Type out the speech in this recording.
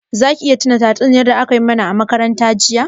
Za ki iya tuna tatsuniyar da a ka mana a makaranta jiya?